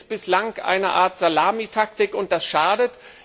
Das ist bislang eine Art Salamitaktik, und das schadet.